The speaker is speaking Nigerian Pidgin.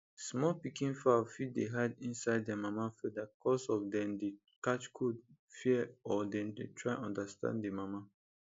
small pikin fowl fit dey hide inside their mama feather cos of dem dey catch cold fear or dem try understand the mama